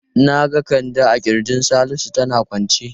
Na ga Kande a kirjin Salisu tana kwance.